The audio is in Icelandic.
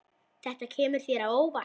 Þetta kemur þér á óvart.